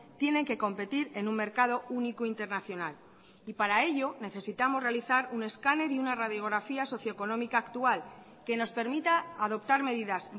tienen que competir en un mercado único internacional y para ello necesitamos realizar un escáner y una radiografía socio económica actual que nos permita adoptar medidas